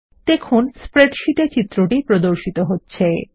দেখুন স্প্রেডশীট এ চিত্রটি প্রদর্শিত হচ্ছে ltpausegt